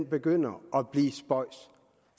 begynder at blive spøjs